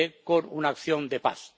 con una acción de paz.